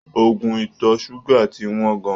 Oògùn ìtọ̀ ṣúgà ti wọ́n gan-an.